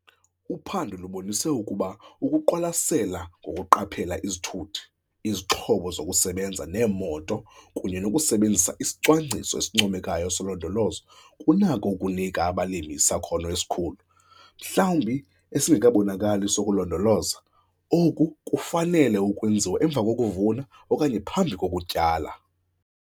Uphando lubonise ukuba ukuziqwalasela ngokuqaphela izithuthi, izixhobo zokusebenza neemoto kunye nokusebenzisa isicwangciso esincomekayo solondolozo kunako ukunika abalimi isakhono esikhulu, mhlawumbi esingekabonakali sokulondoloza. Oku kufanele ukwenziwa emva kokuvuna okanye phambi kokutyala.